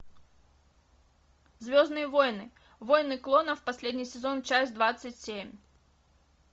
звездные войны войны клонов последний сезон часть двадцать семь